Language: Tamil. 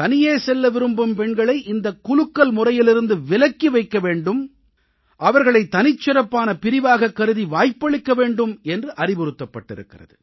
தனியே செல்ல விரும்பும் பெண்களை இந்தக் குலுக்கல் முறையிலிருந்து விலக்கி வைக்க வேண்டும் அவர்களை தனிச்சிறப்பான பிரிவாகக் கருதி வாய்ப்பளிக்க வேண்டும் என்று அறிவுறுத்தப்பட்டிருக்கிறது